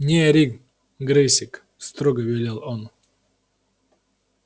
не ори грэйсик строго велел он